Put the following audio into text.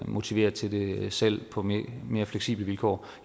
motivere til det selv på mere mere fleksible vilkår